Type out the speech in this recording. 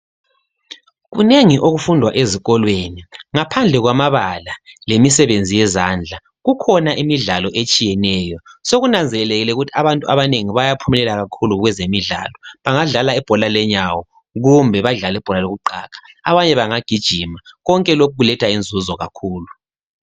Kunengi okufundwa ezikolweni, ngaphandle kwamabala lemisebenzi yezandla. Kukhona imidlalo etshiyeneyo, sokunanzelelekile ukuthi abantu abanengi bayaphumelela kakhulu kwezemidlalo bangadlala ibhola lenyawo kumbe elokuqaga. Konke lokhu kuletha inzuzo kakhulu.